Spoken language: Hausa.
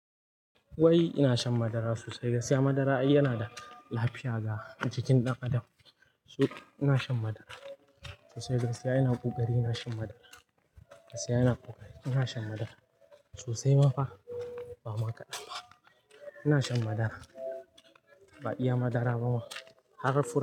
Wai ina shan madara sosai. Gaskiya madara ai yana da lafiya ga jikin ɗan adam. So ina shan madara sosai. Gaskiya ina ƙoƙari ina shan madara. Gaskiya ina ƙoƙari ina shan madara sosai. Kuma fa ba ma kaɗan ba ina shan madara. Ba iya madara ba ma har fura.